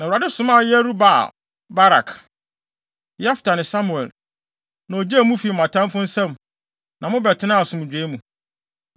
Na Awurade somaa Yerub-Baal, Barak, Yefta ne Samuel, na ogyee mo fii mo atamfo nsam na mobɛtenaa asomdwoe mu.